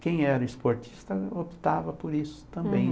Quem era esportista optava por isso também.